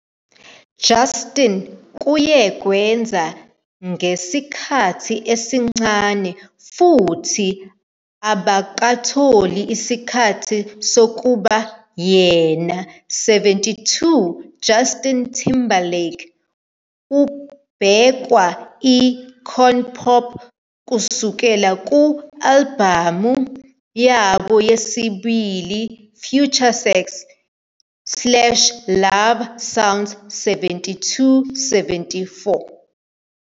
Justin kuye kwenza ngesikhathi isencane futhi abakatholi isikhathi sokuba yena. 72 Justin Timberlake ubhekwa icon pop kusuka ku-albhamu yabo yesibili FutureSex - LoveSounds 73 74